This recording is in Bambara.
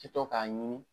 Ti to k'a ɲimi